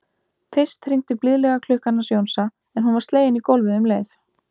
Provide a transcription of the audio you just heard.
Fyrst hringdi blíðlega klukkan hans Jónsa en hún var slegin í gólfið um leið.